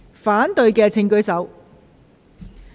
反對的請舉手。